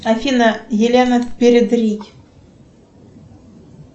афина елена передрий